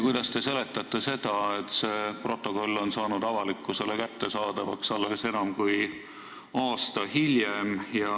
Kuidas te seletate seda, et see protokoll sai avalikkusele kättesaadavaks alles enam kui aasta hiljem?